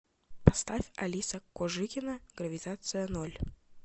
поставь алиса кожикина гравитация ноль